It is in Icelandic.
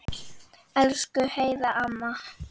Elsku Heiða amma.